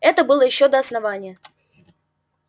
это было ещё до основания